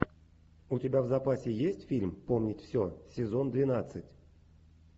у тебя в запасе есть фильм помнить все сезон двенадцать